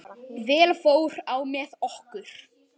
Vel fór á með okkur.